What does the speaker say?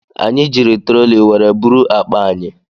Anyị jiri troli were buru akpa anyị.